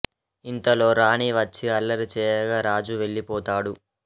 ఇంతలో రాణి వచ్చి అల్లరి చేయగా రాజు వెళ్లి పోతాడు